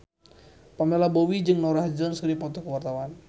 Pamela Bowie jeung Norah Jones keur dipoto ku wartawan